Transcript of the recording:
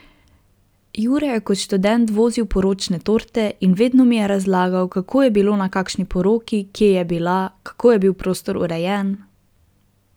Jure je kot študent vozil poročne torte in vedno mi je razlagal, kako je bilo na kakšni poroki, kje je bila, kako je bil prostor urejen ...